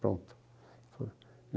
Pronto. Foi